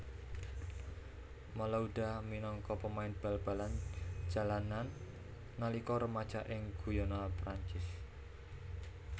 Malouda minangka pemain bal balan jalanan nalika remaja ing Guyana Perancis